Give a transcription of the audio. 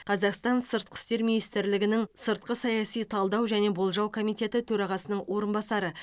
қазақстан сыртқы істер министрлігінің сыртқы саяси талдау және болжау комитеті төрағасының орынбасары